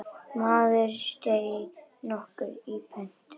Maður nokkur steig í pontu.